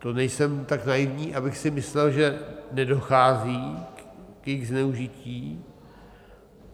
To nejsem tak naivní, abych si myslel, že nedochází k jejich zneužití.